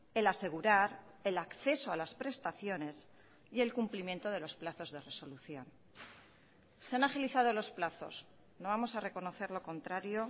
el asegurar el acceso a las prestaciones y el cumplimiento de los plazos de resolución se han agilizado los plazos no vamos a reconocer lo contrario